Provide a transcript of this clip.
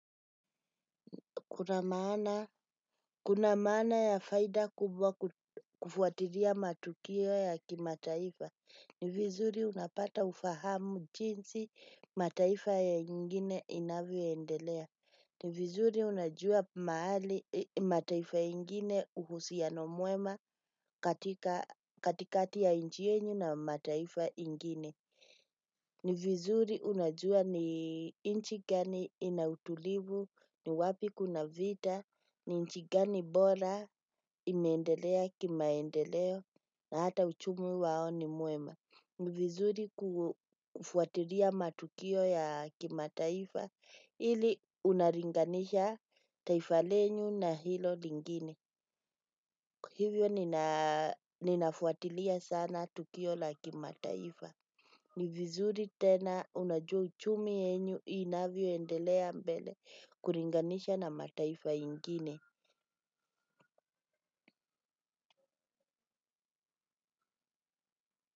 Kuna maana ya faida kubwa kufuatilia matukio ya kimataifa. Ni vizuri unapata ufahamu jinsi mataifa ingine inavyoendelea. Ni vizuri unajua mahali mataifa ingine, uhusiano mwema katikati ya nchi yenu na mataifa ingine ni vizuri unajua ni nchi gani ina utulivu, ni wapi kuna vita, ni nchi gani bora imeendelea kimaendeleo na hata uchumi wao ni mwema. Ni vizuri kufuatilia matukio ya kimataifa ili unalinganisha taifa lenyu na hilo lingine. Hivyo ninafuatilia sana tukio la kimataifa. Ni vizuri tena unajua uchumi yenyu inavyoendelea mbele kulinganisha na mataifa ingine.